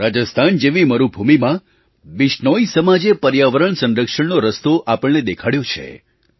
રાજસ્થાન જેવી મરુભૂમિમાં બિશ્નોઈ સમાજે પર્યાવરણ સંરક્ષણનો રસ્તો આપણને દેખાડ્યો છે